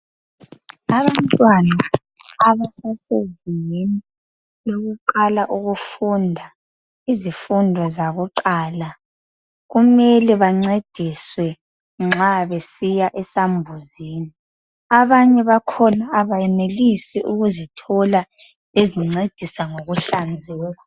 Abantwana abasasezingeni lokuqala ukufunda izifundo zakuqala kumele bancediswe nxa besiya esambuzini abanye bakhona abayenelisi ukuzithola ezincedisa ngokuhlanzeka